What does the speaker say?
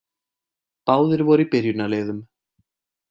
Báðir voru í byrjunarliðum.